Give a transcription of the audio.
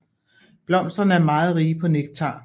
Blomsterne er meget rige på nektar